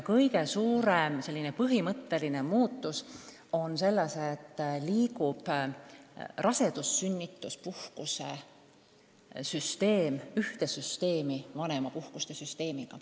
Kõige suurem põhimõtteline muutus on selles, et rasedus-sünnituspuhkuse süsteem liigub ühte vanemapuhkuste süsteemiga.